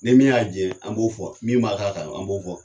Ni min y'a jɛ an b'o fɔ min b'a k'a kan an b'o fɔ.